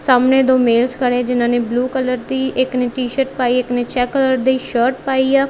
ਸਾਹਮਣੇ ਦੋ ਮੇਲਸ ਖੜੇ ਹੈਂ ਜਿਹਨਾਂ ਨੇ ਬਲੂ ਕਲਰ ਦੀ ਇੱਕ ਨੇ ਟੀ_ਸ਼ਰਟ ਪਾਈ ਇੱਕ ਨੇ ਚੈੱਕ ਕਲਰ ਦੀ ਸ਼ਰਟ ਪਾਈ ਆ।